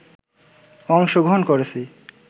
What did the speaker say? অংশগ্রহণ করেছি